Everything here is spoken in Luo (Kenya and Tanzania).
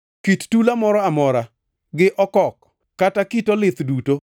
kit tula moro amora, gi okok, kata kit olith duto,